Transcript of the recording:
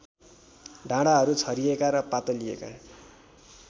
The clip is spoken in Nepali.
डाँडाहरू छरिएका र पातलिएका